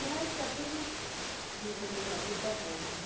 Mas está tudo vivendo uma vida boa.